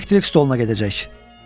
Elektrik stoluna gedəcək.